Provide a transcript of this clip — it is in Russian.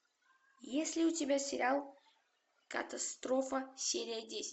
есть ли у тебя сериал катастрофа серия десять